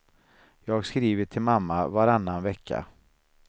Jag skriver till mamma varannan vecka.